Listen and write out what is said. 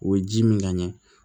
O ye ji min ka ɲɛ